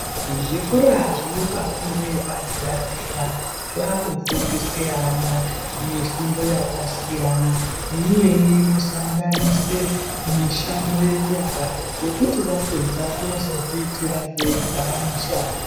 Zvikora zvinopa fundo yepadera dera zvakufundise ana mishundo yakasiyana neimweni inosanganise mishando yenyara yekuti vapedza vanozozviitira vega mishando.